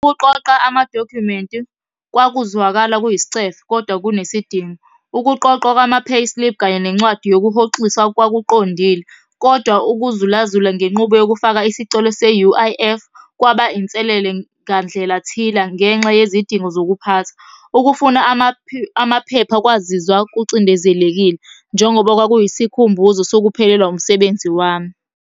Ukuqoqa amadokhumenti kwakuzwakala kuyisicefe, kodwa kunesidingo. Ukuqoqwa kwama-payslip, kanye nencwadi yokuhoxisa kwakuqondile, kodwa ukuzulazula ngenqubo yokufaka isicelo se-U_I_F kwaba inselele ngandlela thila ngenxa yezidingo zokuphatha. Ukufuna amaphepha kwazizwa kucindezelekile, njengoba kwakuyisikhumbuzo sokuphelelwa umsebenzi wami.